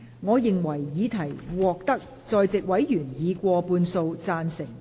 我認為議題獲得在席委員以過半數贊成。